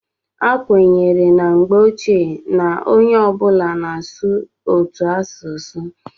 a kwenyere na mgbe ochie na onye ọ bụla na-asụ otu asụsụ